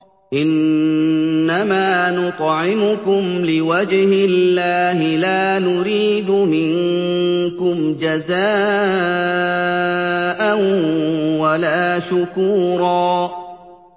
إِنَّمَا نُطْعِمُكُمْ لِوَجْهِ اللَّهِ لَا نُرِيدُ مِنكُمْ جَزَاءً وَلَا شُكُورًا